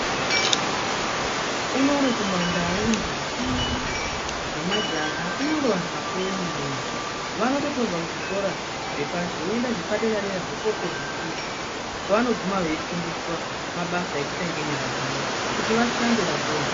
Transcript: Unonono kumandau ndombi nemajaha kunyangwe antu akuru vanoti vobva kuzvikora zvepashi woenda zvepadera dera zvekopedzisira kwavanogume veifundiswa mabasa yekuita nenyara dzawo kuti vashande vapone.